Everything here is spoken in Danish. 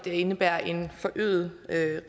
indebærende en forøget